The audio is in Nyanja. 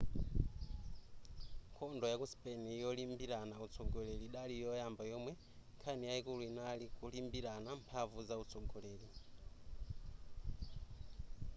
nkhondo yaku spain yolimbirana utsogoleri idali yoyamba yomwe nkhani yayikulu inali kulimbirana mphamvu zautsogoleri